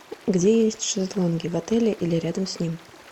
где есть шезлонги в отеле или рядом с ним